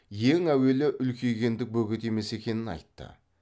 ең әуелі үлкейгендік бөгет емес екенін айтты